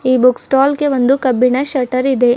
ಈ book stall ಗೆ ಒಂದು ಕಬ್ಬಿಣ ಶೆಟ್ಟರ್ ಇದೆ.